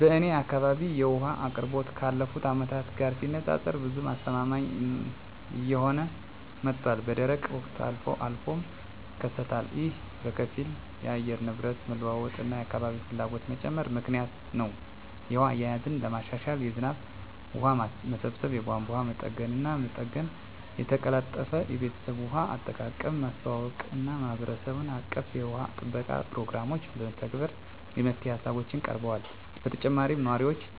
በእኔ አካባቢ የውሃ አቅርቦት ካለፉት አመታት ጋር ሲነፃፀር ብዙም አስተማማኝ እየሆነ መጥቷል፣ በደረቅ ወቅቶች አልፎ አልፎም ይከሰታሉ። ይህ በከፊል የአየር ንብረት መለዋወጥ እና የአካባቢ ፍላጎት መጨመር ምክንያት ነው. የውሃ አያያዝን ለማሻሻል የዝናብ ውሃ ማሰባሰብ፣ የቧንቧ መጠገንና መጠገን፣ የተቀላጠፈ የቤተሰብ ውሃ አጠቃቀምን ማስተዋወቅ እና የማህበረሰብ አቀፍ የውሃ ጥበቃ ፕሮግራሞችን መተግበር የመፍትሄ ሃሳቦች ቀርበዋል። በተጨማሪም ነዋሪዎችን